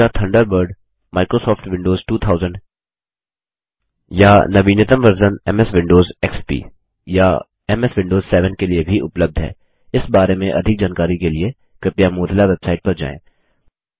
Mozilla Thunderbird Microsoft Windows 2000 या नवीतम version जैसे एमएस विंडोज एक्सपी या एमएस विंडोज 7 के लिए भी उपलब्ध है इस बारे में अधिक जानकारी के लिए कृपया मोजिला वेबसाइट पर जाएँ